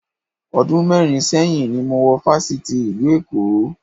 Ọdún mẹ́rin sẹ́yìn ni mo wọ Fáṣítì ìlú Èkó